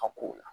A kow la